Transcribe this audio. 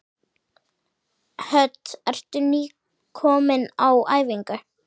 Hödd: Ertu nýkominn á æfingu?